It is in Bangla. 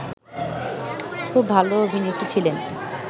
খুব ভালো অভিনেত্রী ছিলেন